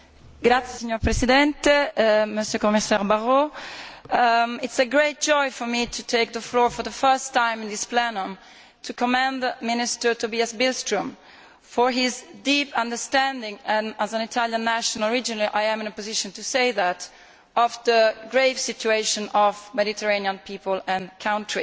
Mr President, it is a great joy for me to take the floor for the first time in this Plenary to commend Minister Tobias Billström for his deep understanding and, as an Italian national originally, I am in a position to say that of the grave situation facing the Mediterranean people and countries.